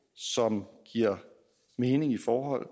som giver mening i forhold